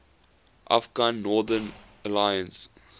afghan northern alliance